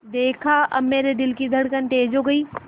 देखा अब मेरे दिल की धड़कन तेज़ हो गई